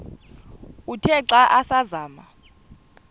uthe xa asazama